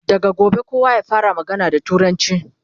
daga gobe kowa ya fara magana da turanci!